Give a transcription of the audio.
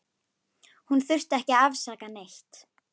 Hún þurfti ekki að afsaka neitt.